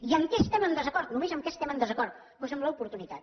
i en què estem en desacord només en què estem en desacord doncs en l’oportunitat